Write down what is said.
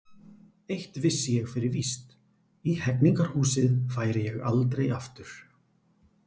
Eitt vissi ég fyrir víst: í Hegningarhúsið færi ég aldrei aftur.